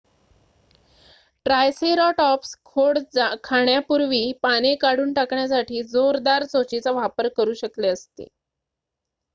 triceratops खोड खाण्यापूर्वी पाने काढून टाकण्यासाठी जोरदार चोचीचा वापर करू शकले असते